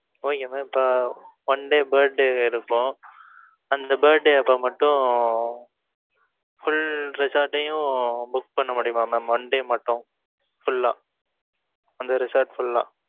Okay mam இப்ப one day birthday இருக்கும். அந்த birthday அப்ப மட்டும், full resort டையும் book பண்ண முடியுமா mam oneday மட்டும், full ஆ அந்த resort full ஆ